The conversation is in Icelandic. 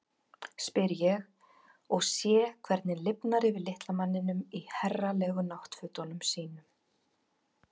spyr ég og sé hvernig lifnar yfir litla manninum í herralegu náttfötunum sínum.